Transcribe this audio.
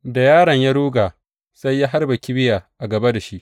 Da yaron ya ruga sai ya harba kibiya a gaba da shi.